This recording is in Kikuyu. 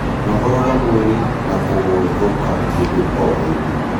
Nogoraga mwĩrĩ na kũguthũka hĩndĩ o hĩndĩ